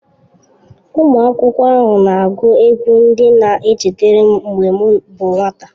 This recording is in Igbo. Ụmụ akwụkwọ ahụ na-agụ egwú ndị na-echetara m mgbe m bụ nwata.